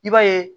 I b'a ye